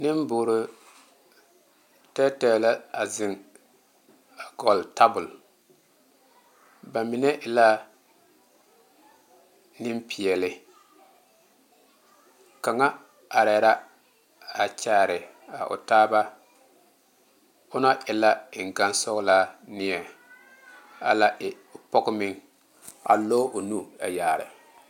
Nenboore tɛɛtɛɛ la a zeŋ a gɔle tabol ba mine e la nempeɛle kaŋa ara la a kyaare a o taaba on a e la eŋgane sɔgelaa neɛ a la e pɔge meŋ a lɔɔ o nu a yaare